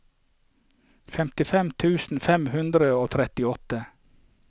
femtifem tusen fem hundre og trettiåtte